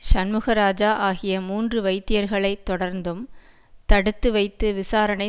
சண்முகராஜா ஆகிய மூன்று வைத்தியர்களை தொடர்ந்தும் தடுத்து வைத்து விசாரணை